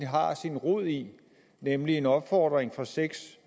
har sin rod i nemlig en opfordring fra seks